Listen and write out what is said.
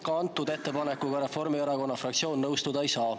Ka antud ettepanekuga Reformierakonna fraktsioon nõustuda ei saa.